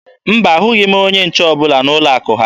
Mba, ahụghị m onye nche ọbụla n'ụlọ akụ ha.